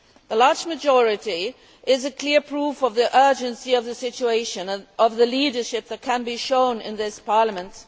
The large majority is clear proof of the urgency of the situation and of the leadership that can be shown in this Parliament.